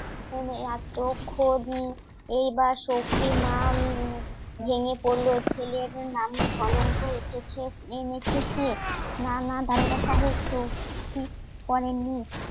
উনি এতক্ষণ এবার সখি মা ভেঙে পড়লো ছেলের নামে কলঙ্ক উঠেছে এনেছে না না দারোগা সাহেব সউখি করেননি